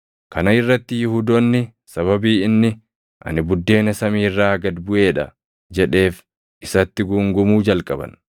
Kana irratti Yihuudoonni sababii inni, “Ani buddeena samii irraa gad buʼee dha” jedheef isatti guungumuu jalqaban.